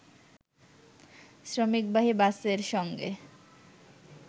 শ্রমিকবাহী বাসের সঙ্গে